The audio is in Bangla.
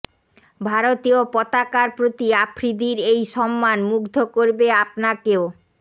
ভারতীয় পতাকার প্রতি আফ্রিদির এই সম্মান মুগ্ধ করবে আপনাকেও